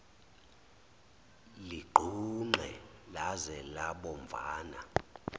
ligqunqe laze labomvana